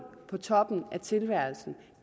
på toppen af tilværelsen